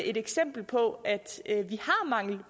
et eksempel på